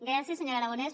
gràcies senyor aragonès